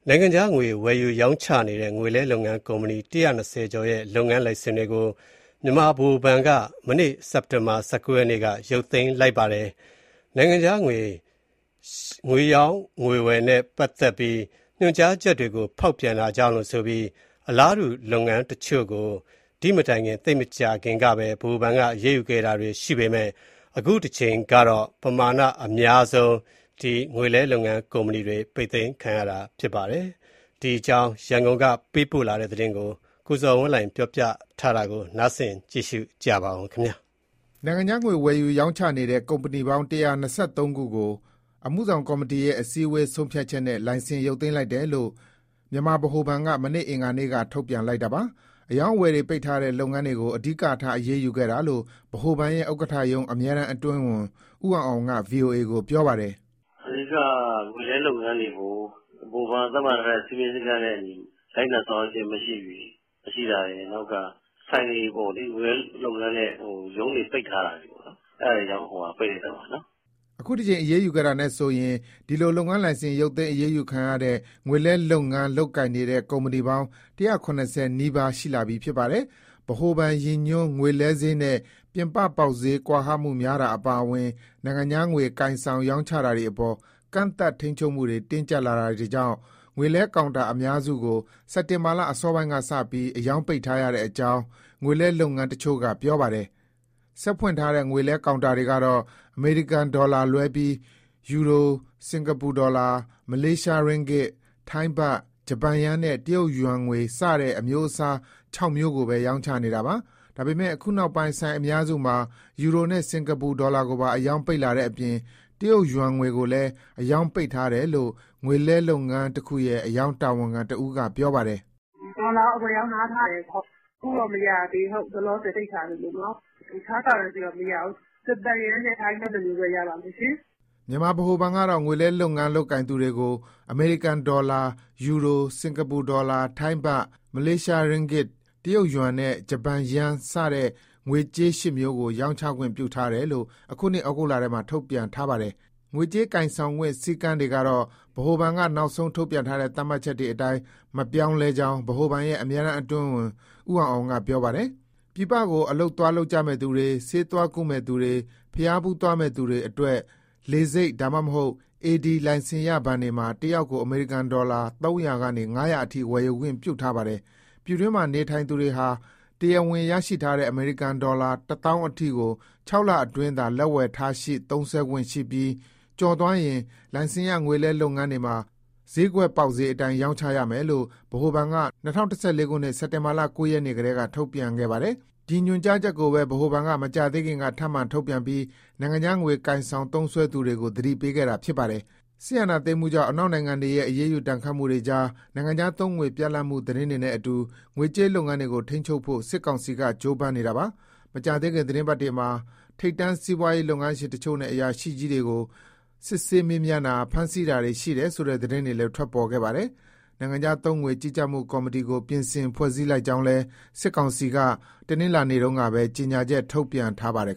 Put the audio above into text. နိုင်ငံခြားငွေ ဝယ်ယူရောင်းချနေတဲ့ ငွေလဲလုပ်ငန်း ကုမ္ပဏီ ၁၂၀ကျော်ရဲ့ လုပ်ငန်း လိုင်စင်တွေကို မြန်မာဗဟိုဘဏ်က မနေ့ စက်တင်ဘာ ၁၉ ရက်က ရုပ်သိမ်း လိုက်ပါတယ်။ နိုင်ငံခြား ငွေရောင်းဝယ်တာနဲ့ ပတ်သက်တဲ့ ညွှန်ကြားချက်တွေကို ဖောက်ဖျက်တာကြောင့်လို့ ဆိုပြီး အလားတူ လုပ်ငန်းတချို့ကို ဒီ့မတိုင်ခင် သိပ်မကြာခင်ကပဲ ဗဟိုဘဏ်က အရေးယူခဲ့တာရှိပေမဲ့ အခုတကြိမ်ကတော့ ပမာဏ အများဆုံး ပိတ်သိမ်းခံရတာ ဖြစ်ပါတယ်။ ဒီအကြောင်း ရန်ကုန်က ပေးပို့လာတဲ့သတင်းကို ကိုဇော်ဝင်းလှိုင်က တင်ပြပေးပါမယ်။ နိုင်ငံခြားငွေ ဝယ်ယူ၊ရောင်းချနေတဲ့ ကုမ္ပဏီပေါင်း ၁၂၃ ခုကိုအမှုဆောင်ကော်မတီရဲ့ အစည်းအဝေး ဆုံးဖြတ်ချက်နဲ့ လိုင်စင် ရုပ်သိမ်း လိုက်တယ်လို့ မြန်မာဗဟိုဘဏ်က မနေ့ကအင်္ဂါနေ့က ထုတ်ပြန်လိုက်တာပါ။ အရောင်းအဝယ်တွေ ပိတ်ထားတဲ့ လုပ်ငန်းတွေကို အဓိကထား အရေးယူခဲ့တာလို့ ဗဟိုဘဏ်ရဲ့ ဥက္ကဋ္ဌရုံး အမြဲတမ်းအတွင်းဝန် ဦးအောင်အောင်က ဗွီအိုအေကို ပြောပါတယ်။ " အဓိက က ငွေလဲလုပ်ငန်းတွေကို ဗဟိုဘဏ်က သတ်မှတ်ထားတဲ့ စည်းမျဉ်း၊ စည်းကမ်းနဲ့အညီ လိုက်နာဆောင်ရွက်ခြင်း မရှိတာရယ်။ ဆိုင်တွေပေါ့လေ ငွေလဲလုပ်ငန်းနဲ့ ရုံးတွေပိတ်ထားတာတွေ အဲဒါတွေကြောင့် ပိတ်လိုက်တာပါ။" အခုတကြိမ် အရေးယူခဲ့တာနဲ့ဆိုရင် ဒီလို လုပ်ငန်းလိုင်စင် ရုတ်သိမ်း အရေးယူခံရတဲ့ ငွေလဲလုပ်ငန်း လုပ်ကိုင်နေတဲ့ ကုမ္ပဏီပေါင်း၁၇၀ နီးပါး ရှိလာပြီ ဖြစ်ပါတယ်။ ဗဟိုဘဏ်ရည်ညွှန်း ငွေလဲဈေးနဲ့ ပြင်ပပေါက်ဈေး ကွာဟမှုများတာ အပါအဝင် နိုင်ငံခြားငွေ ကိုင်ဆောင်၊ ရောင်းချတာတွေအပေါ် ကန့်သတ်၊ ထိန်းချုပ်မှုတွေ တင်းကျပ်လာတာကြောင့် ငွေလဲကောင်တာ အများစုကို စက်တင်ဘာလ အစောပိုင်းကစပြီး အရောင်းပိတ်ထားရတဲ့အကြောင်း ငွေလဲလုပ်ငန်းတချို့က ပြောပါတယ်။ ဆက်ဖွင့်ထားတဲ့ ငွေလဲကောင်တာတွေ ကတော့ အမေရိကန်ဒေါ်လာလွဲပြီး ယူရို၊စင်္ကာပူဒေါ်လာ၊ မလေးရှားရင်းဂစ်၊ ထိုင်းဘတ်၊ ဂျပန်ယန်းနဲ့ တရုတ်ယွမ်ငွေ စတဲ့အမျိုးအစား ၆ မျိုးကိုပဲ ရောင်းချနေတာပါ။ ဒါပေမဲ့ အခုနောက်ပိုင်း ဆိုင်အများစုမှာ ယူရိုနဲ့ စင်္ကာပူဒေါ်လာ ကိုပါ အရောင်းပိတ်လာတဲ့အပြင် တရုတ်ယွမ်ငွေကိုလည်း အရောင်းပိတ်ထားတယ်လို့ ငွေလဲလုပ်ငန်းတခုရဲ့ အရောင်းတာဝန်ခံတဦးက ပြောပါတယ်။ ဒေါ်လာက အဝယ်အရောင်း နားထားတယ်။ အခုတော့ မရသေးဘူး လောလောဆယ် ပိတ်ထားတယ်။ တခြားဟာတွေလည်း မရဘူး၊ ဂျပန်ယန်းနဲ့ ထိုင်းဘတ်နှစ်မျိုးပဲ ရပါမယ်ရှင်။" မြန်မာဗဟိုဘဏ်ကတော့ ငွေလဲလုပ်ကိုင်သူတွေကို အမေရိကန်ဒေါ်လာ၊ ယူရို၊စင်္ကာပူဒေါ်လာ၊ ထိုင်းဘတ်၊ မလေးရှားရင်းဂစ်၊ တရုတ်ယွမ်နဲ့ ဂျပန်ယန်းငွေ စတဲ့ငွေကြေး ၈ မျိုးကို ရောင်းဝယ်ခွင့်ပြု ထားတယ်လို့ အခုနှစ် ဩဂုတ်လထဲမှာ ထုတ်ပြန်ထားပါတယ်။ ငွေကြေးကိုင်ဆောင်ခွင့် စည်းကမ်းတွေ ကတော့ ဗဟိုဘဏ်က နောက်ဆုံး ထုတ်ပြန်ထားတဲ့ သတ်မှတ်ချက်တွေအတိုင်း မပြောင်းလဲကြောင်း ဗဟိုဘဏ်ရဲ့ အမြဲတမ်း အတွင်းဝန် ဦးအောင်အောင်က ပြောပါတယ်။ ပြည်ပကို အလုပ် သွားလုပ်ကြမယ့်သူတွေ၊ ဆေးသွားကုမယ့် သူတွေ၊ ဘုရားဖူးသွားမယ့် သူတွေအတွက် လေဆိပ်ဒါမှမဟုတ် AD လိုင်စင်ရ ဘဏ်တွေမှာ တယောက်ကို အမေရိကန်ဒေါ်လာ ၃၀၀ကနေ၅၀၀အထိဝယ်ခွင့်ပြုထားပါတယ်။ ပြည်တွင်းမှာ နေထိုင်သူတွေဟာ တရားဝင် ရရှိထားတဲ့ အမေရိကန်ဒေါ်လာ ၁၀,၀၀၀အထိကို ၆ လအတွင်းသာ လက်ဝယ်ထားရှိ သုံးစွဲခွင့်ရှိပြီး ကျော်သွားရင်တော့ လိုင်စင်ရ ငွေလဲ လုပ်ငန်းတွေမှာ စျေးကွက်ပေါက်စျေး အတိုင်း ရောင်းချရမယ်လို့ ဗဟိုဘဏ်က ၂၀၁၄ စက်တင်ဘာ ၉ ရက်နေ့ကတည်းက ထုတ်ပြန်ခဲ့ပါတယ်။ ဒီညွှန်ကြားချက်ကိုပဲ ဗဟိုဘဏ်က မကြာသေးခင်က ထပ်မံ ထုတ်ပြန်ပြီး နိုင်ငံခြားငွေ ကိုင်ဆောင်သုံးစွဲသူတွေကို သတိပေးခဲ့တာ ဖြစ်ပါတယ်။ စစ်အာဏာသိမ်းမှုကြောင့် အနောက်နိုင်ငံတွေရဲ့ အရေးယူဒဏ်ခတ်မှုတွေကြား နိုင်ငံခြားသုံးငွေ ပြတ်လပ်မှု သတင်းတွေနဲ့အတူ ငွေကြေးလုပ်ငန်းတွေကို ထိန်းချုပ်ဖို့ စစ်ကောင်စီက ကြိုးပမ်းလာနေတာပါ။ မကြာသေးခင် သီတင်းပတ်တွေမှာ ထိပ်တန်းစီးပွားရေး လုပ်ငန်းရှင်တချို့နဲ့ အရာရှိကြီးတွေကို စစ်ဆေးမေးမြန်းတာ ဖမ်းဆီးတာတွေ ရှိတယ်ဆိုတဲ့ သတင်းတွေလည်း ထွက်ပေါ်ခဲ့တာပါ။ နိုင်ငံခြားသုံးငွေ ကြီးကြပ်မှု ကော်မတီကို ပြင်ဆင်ဖွဲ့စည်းလိုက်ကြောင်း စစ်ကောင်စီက တနင်္လာနေ့တုန်းကပဲ ကြေညာချက် ထုတ်ပြန်ထားပါတယ်